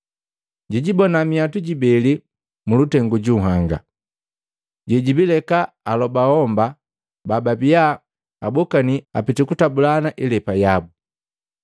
Jijibona minhwatu jibeli mulutengu ju nhanga, jebijileka alobo homba bababia abokani apiti kutabulana ilepa yabu.